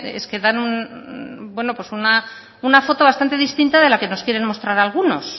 es que dan una foto bastante distinta de la que nos quieren mostrar algunos